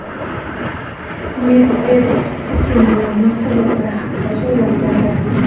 Medvedev Putin bilan munosabatlari haqida so‘zlab berdi.